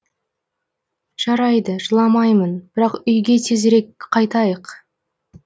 жарайды жыламаймын бірақ үйге тезірек қайтайық